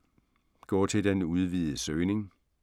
Gå til den udvidede søgning